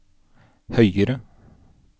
høyere